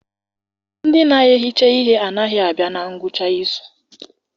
Ndị na-ehicha ihe anaghị abịa na ngwụcha izu.